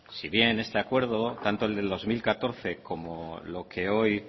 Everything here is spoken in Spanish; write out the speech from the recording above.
si bien este acuerdo tanto el del dos mil catorce